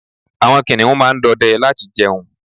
àwọn kiniun ma n dọdẹ láti jẹun